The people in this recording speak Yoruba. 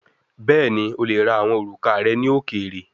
Bẹẹni, o le ra awọn oruka rẹ ni okeere